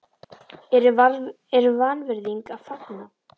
er vanvirðing að fagna?